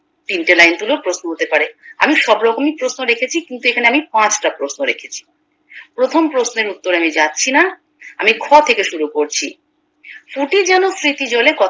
তিনটে লাইন তুলেও প্রশ্ন হতে পারে আমি সব রকমই প্রশ্ন রেখেছি কিন্তু এখানে আমি পাঁচটা প্রশ্ন রেখেছি প্রথম প্রশ্নের উত্তরে আমি যাচ্ছি না আমি খ থেকে শুরু করছি জলে স্মৃতি জলে